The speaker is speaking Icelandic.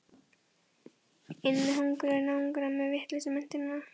Inn með hungruðu náungana með vitlausu menntunina.